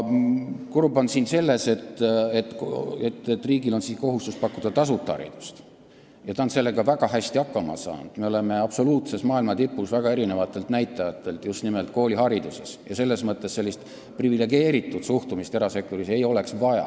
Kurb on see, et riigil on kohustus pakkuda tasuta haridust, ta on sellega väga hästi hakkama saanud, me oleme maailma absoluutses tipus väga erinevate näitajate poolest just nimelt koolihariduses, ja sellist privilegeeritud suhtumist erasektorisse ei oleks vaja.